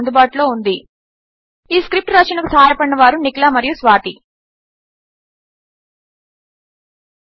వద్ద అందుబాటులో ఉంది ఈ స్క్రిప్ట్ రచనకు సహాయపడినవారు నిఖిల మరియు స్వాతి చూసినందుకు ధన్యవాదములు